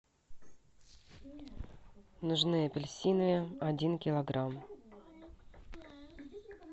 нужны апельсины один килограмм